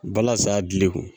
Balazan gili kun.